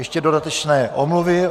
Ještě dodatečné omluvy.